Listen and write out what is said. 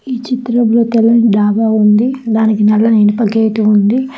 ఈ చిత్రంలో తెల్లని డాబా ఉంది దానికి నల్లని ఇనుప గేటు ఉంది.